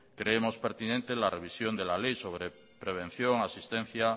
creemos pertinente la revisión de la ley sobre prevención asistencia